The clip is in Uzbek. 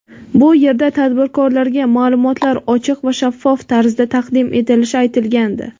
bu yerda tadbirkorlarga ma’lumotlar ochiq va shaffof tarzda taqdim etilishi aytilgandi.